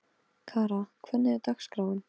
Kara, hvernig er dagskráin?